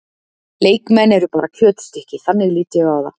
Leikmenn eru bara kjötstykki, þannig lít ég á það.